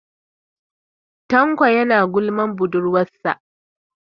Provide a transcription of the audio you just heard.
Tanko is gossipping about his girlfriend.